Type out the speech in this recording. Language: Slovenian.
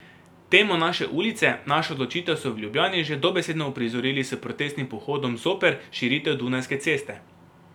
Temo Naše ulice, naša odločitev so v Ljubljani že dobesedno uprizorili s protestnim pohodom zoper širitev Dunajske ceste.